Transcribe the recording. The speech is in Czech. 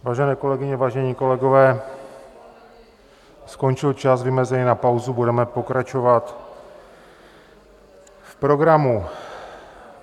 Vážené kolegyně, vážení kolegové, skončil čas vymezený na pauzu, budeme pokračovat v programu.